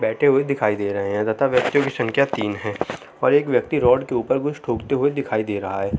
बैठे हुए दिखाई दे रहे है। लगता है व्यक्तियो कि संख्या तीन हैं और एक व्यक्ति रोड के ऊपर कुछ ठोकते हुए दिखाई दे रहा है।